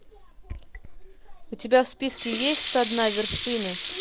у тебя в списке есть со дна вершины